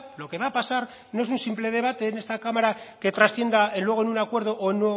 lo que va a pasar no es un simple debate en esta cámara que trascienda luego en un acuerdo o